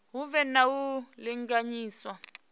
hu vhe na u linganyiswa